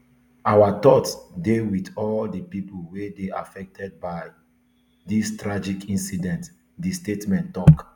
our thoughts dey wit all di pipo wey dey affected by dis tragic incident di statement tok